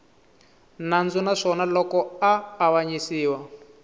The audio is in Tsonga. nandzu naswona loko a avanyisiwa